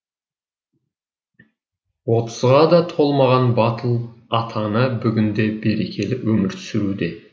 отызға да толмаған батыл ата ана бүгінде берекелі өмір сүруде